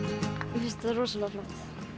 mér finnst þetta rosalega flott